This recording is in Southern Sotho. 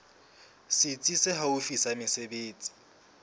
setsi se haufi sa mesebetsi